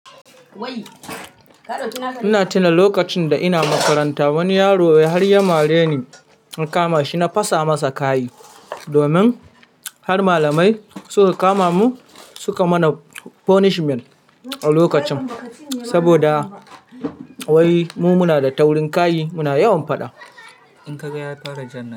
Ina tuna lokacin da ina makaranta wani yaro ya mare ni, na kama shi na fasa masa kai domin har malamai suka kama mu suka mana punishment a lokacin saboda wai mu muna da taurin kayi muna yawan faɗa.